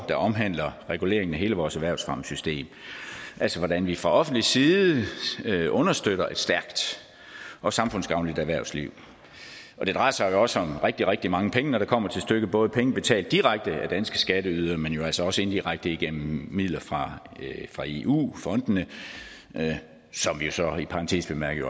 der omhandler reguleringen af hele vores erhvervsfremmesystem altså hvordan vi fra offentlig side understøtter et stærkt og samfundsgavnligt erhvervsliv og det drejer sig også om rigtig rigtig mange penge når det kommer til stykket både penge betalt direkte af danske skatteydere men jo altså også indirekte gennem midler fra fra eu fondene som vi så i parentes bemærket